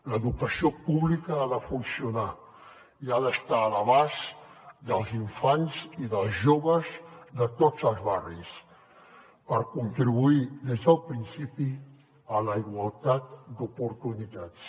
l’educació pública ha de funcionar i ha d’estar a l’abast dels infants i dels joves de tots els barris per contribuir des del principi a la igualtat d’oportunitats